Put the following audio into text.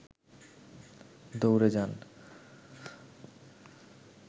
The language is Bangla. দৌড়ে যান